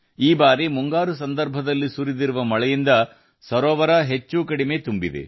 ಈ ಬಾರಿ ಮುಂಗಾರು ಹಂಗಾಮಿನಲ್ಲಿ ಸುರಿದ ಮಳೆಯಿಂದಾಗಿ ಈ ಕೆರೆ ಸಂಪೂರ್ಣ ಭರ್ತಿಯಾಗಿದೆ